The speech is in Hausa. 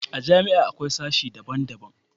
a jami'a akwai sashi daban daban